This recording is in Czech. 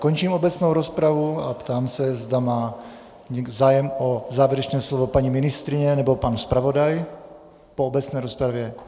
Končím obecnou rozpravu a ptám se, zda má zájem o závěrečné slovo paní ministryně nebo pan zpravodaj po obecné rozpravě.